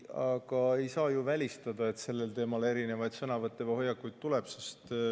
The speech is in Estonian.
Aga ei saa ju välistada seda, et sellel teemal veel sõnavõtte või erinevaid hoiakuid tuleb.